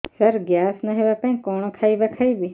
ସାର gas ନ ହେବା ପାଇଁ କଣ ଖାଇବା ଖାଇବି